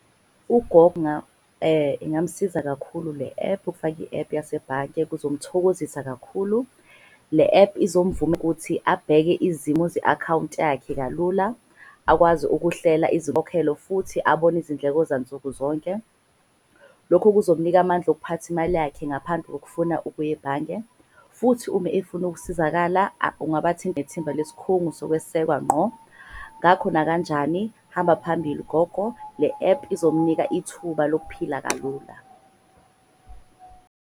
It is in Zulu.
Ingasiza kakhulu le-ephu ufaki i-ephu yasebhange kuzomthokozisa kakhulu. Le ephu ukuthi abheke izimo ze-akhawunti yakhe kalula. Akwazi ukuhlela izinkokhelo futhi abone izindleko zansukuzonke. Lokho kuzomunika amandla okuphatha imali yakhe ngaphandle kokufuna ukuya ebhange. Futhi uma efuna ukusizakala nethimba lesikhungu sokwesekwa ngqo. Ngakho nakanjani hamba phambili gogo. Le-ephu izomnika ithuba lokuphila kalula.